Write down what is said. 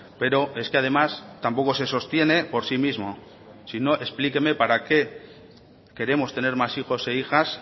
pero es que además tampoco se sostiene por sí mismo si no explíqueme para qué queremos tener más hijos e hijas